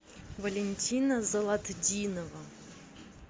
валентина золотдинова